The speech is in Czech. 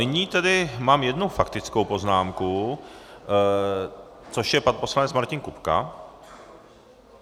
Nyní tedy mám jednu faktickou poznámku, což je pan poslanec Martin Kupka.